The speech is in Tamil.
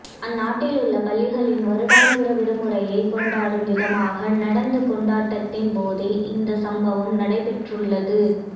அந்நாட்டிலுள்ள பள்ளிகளின் வருடாந்திர விடுமுறையை கொண்டாடும் விதமாக நடந்த கொண்டாட்டத்தின்போதே இந்த சம்பவம் நடைபெற்றுள்ளது